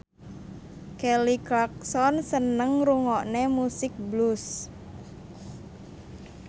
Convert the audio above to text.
Kelly Clarkson seneng ngrungokne musik blues